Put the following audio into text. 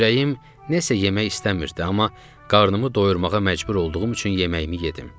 Ürəyim nəsə yemək istəmirdi, amma qarnımı doyurmağa məcbur olduğum üçün yeməyimi yedim.